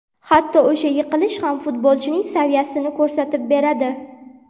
Hatto o‘sha yiqilish ham futbolchining saviyasini ko‘rsatib beradi.